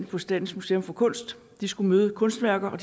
på statens museum for kunst de skulle møde kunstværker og